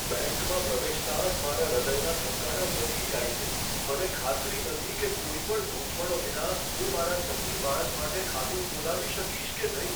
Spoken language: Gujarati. બેંકમાં પ્રવેશતાં જ મારા હૃદયના ધબકારા વધી જાય છે, મને ખાતરી નથી કે કોઈ પણ ગૂંચવણો વિના હું મારા સગીર બાળક માટે ખાતું ખોલાવી શકીશ કે નહીં.